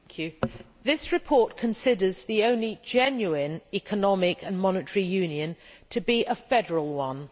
Madam President, this report considers the only genuine economic and monetary union to be a federal one.